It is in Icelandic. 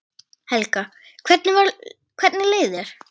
Helga: Hvernig leið þér?